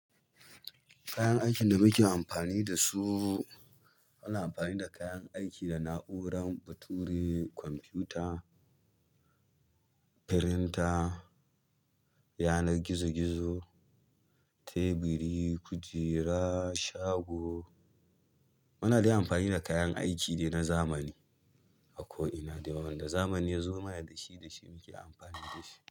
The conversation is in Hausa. Kayan aikin da muke amfani dasu, muna amfani da kayan aiki na'uran bature, computer, printer, yanar gizo-gizo, tuburi, kujera, shago. Muna dai amfani da kayan aiki dai na zamani a ko ina da wanda zamani ya zo maye dashi da shi muke amfani da shi.